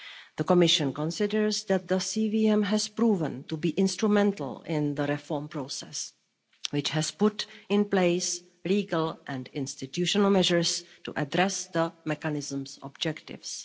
The Commission considers that the CVM has proven to be instrumental in the reform process, which has put in place legal and institutional measures to address the mechanism's objectives.